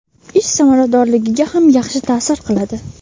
ish samaradorligiga ham yaxshi ta’sir qiladi.